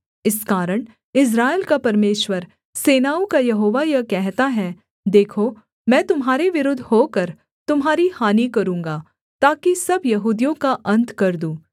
इस कारण इस्राएल का परमेश्वर सेनाओं का यहोवा यह कहता है देखो मैं तुम्हारे विरुद्ध होकर तुम्हारी हानि करूँगा ताकि सब यहूदियों का अन्त कर दूँ